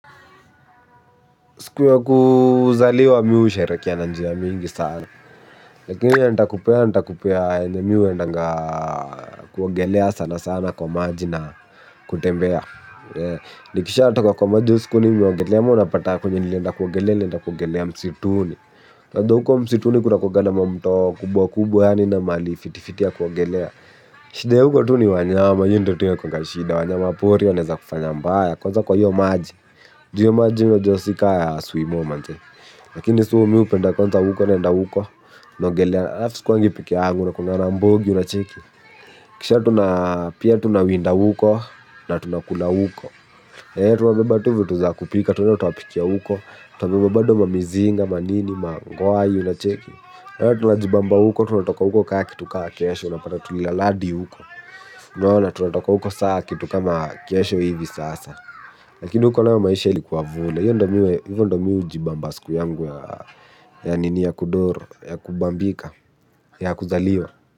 Siku ya kuzaliwa miu sherekia na njia mingi sana. Lakini ya nita kupea nita kupea ene miu endanga kuogelea sana sana kwa maji na kutembea. Nikisha atoka kwa maji uskuni miogelea muna pata kunyini lenda kuwagelea lenda kuogelea msituni. Kwa huko msituni kura kwa ga na mamto kubwa kubwa kubwa hani na mali fiti fiti ya kuwagelea. Shida ya huko tu ni wanyama yo nto tuyo kwa kashida wanyama pori waneza kufanya mbaya. Kwanza kwa hiyo maji ju hiyo maji iyyo josika ya swimo manzee. Lakini sumi upenda kwanza huko nenda huko. Nongelea Afisikwangi pikia angu na kuna rambogi unacheki. Kisha tunapia tunawinda huko. Na tunakula huko. Hei tuwabebatuvu tuza kupika. Tunatopikia huko. Tuwabibabado mamizinga, manini, mangoai unacheki. Hei tunajibamba huko. Tunatoka huko kaa kitu kaa kiesho. Unapata tulilaladi huko. Naona tunatoka huko saa kitu kama kesho hivi sasa. Lakini hukono ya maisha ilikuwa vule. Yo ndo miwe jibamba siku yangu ya nini ya kudoro. Ya kubambika. Ya kuzaliwa.